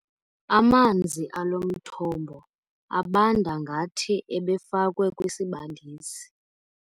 Amanzi alo mthombo abanda ngathi ebefakwe kwisibandisi.